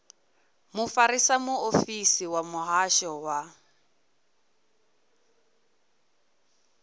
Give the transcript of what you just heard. mufarisa muofisiri wa muhasho wa